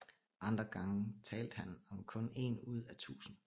Andre gange talte han om kun én ud af tusind